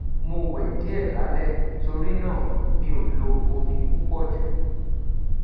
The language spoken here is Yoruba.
mo wẹ diẹ lalẹ tori naa mi o lo omi pupọ ju